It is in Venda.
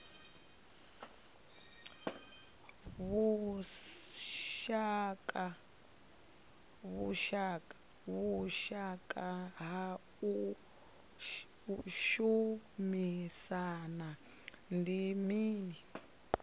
vhushaka ha u shumisana ndi mini